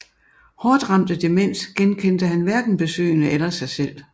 Hårdt ramt af demens genkendte han hverken besøgende eller sig selv